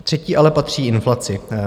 Třetí "ale" patří inflaci.